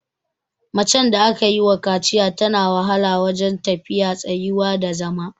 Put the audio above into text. Macen da aka yiwa kaciya tana wahala wajen tafiya, tsayuwa da zama.